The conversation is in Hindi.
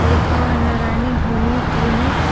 लिखा हुआ है नारायणी होमिओ क्लिनिक --